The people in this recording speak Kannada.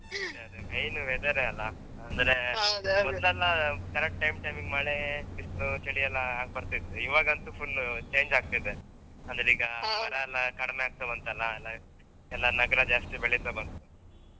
ಅದು main weather ಯೇ ಅಲಾ ಅಂದ್ರೆ ಮೊದ್ಲೆಲ್ಲಾ correct time time ಗೆ ಮಳೆ ಬಿಸ್ಲು ಚಳಿಯೆಲ್ಲಾ ಆಗ್ ಬರ್ತಾ ಇತ್ತು ಇವಾಗಂತೂ full change ಆಗ್ತಾ ಇದೆ ಅಂದ್ರೆ ಈಗ ಮರ ಎಲ್ಲಾ ಕಡಿಮೆಯಾಗ್ತಾ ಬಂತಲ್ಲಾ ಎಲ್ಲಾ ನಗರಯೆಲ್ಲಾ ಜಾಸ್ತಿ ಬೆಳಿತಾ ಬಂತು.